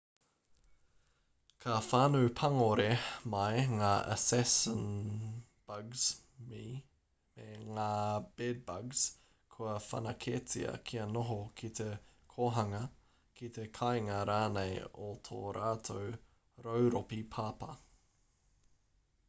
ka whānau pangore mai ngā assassin-bugs me ngā bed-bugs kua whanaketia kia noho ki te kōhanga ki te kāinga rānei o tō rātou rauropi papa